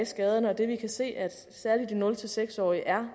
skader og det at vi kan se at særlig de nul seks årige er